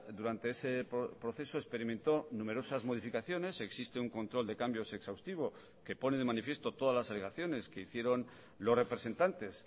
durante ese proceso experimentó numerosas modificaciones existe un control de cambios exhaustivo que pone de manifiesto todas las alegaciones que hicieron los representantes